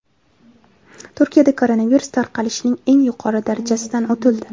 Turkiyada koronavirus tarqalishining eng yuqori darajasidan o‘tildi.